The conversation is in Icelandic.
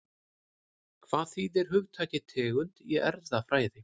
Hvað þýðir hugtakið tegund í erfðafræði?